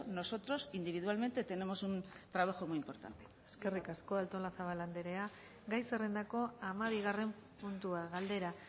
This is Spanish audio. nosotros individualmente tenemos un trabajo muy importante eskerrik asko artolazabal andrea gai zerrendako hamabigarren puntua galdera